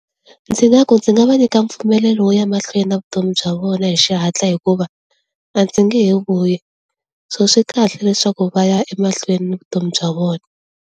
Ndzi nga ku ndzi nga va nyika mpfumelelo wo ya emahlweni na vutomi bya vona hi xihatla hikuva a ndzi nge he vuyi so swi kahle leswaku va ya emahlweni ni vutomi bya vona.